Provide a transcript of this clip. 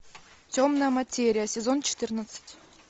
темная материя сезон четырнадцать